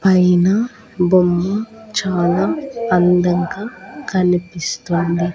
పైన బొమ్మ చాలా అందంగా కనిపిస్తోంది.